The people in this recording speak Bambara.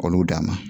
K'olu d'a ma